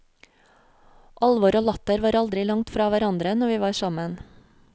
Alvor og latter var aldri langt fra hverandre når vi var sammen.